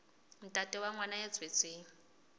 ntate wa ngwana ya tswetsweng